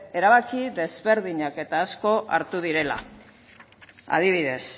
erabaki desberdinak eta asko hartu direla adibidez